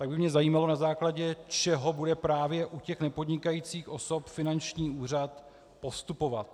Tak by mě zajímalo, na základě čeho bude právě u těch nepodnikajících osob finanční úřad postupovat.